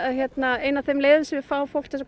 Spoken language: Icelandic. ein af þeim leiðum sem við fá fólk